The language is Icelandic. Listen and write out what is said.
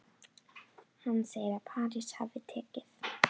Hann segir að París hafi tekið